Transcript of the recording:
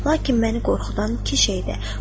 Lakin məni qorxudan iki şeydir.